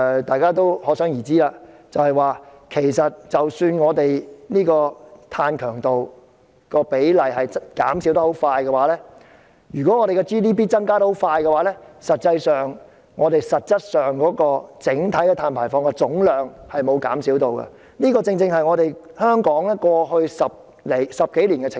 大家可想而知，其實儘管碳強度的比例快速減少，但如果我們的 GDP 增長速度很快，實際上，我們整體碳排放的總量是沒有減少的，這正是香港過去10多年的情況。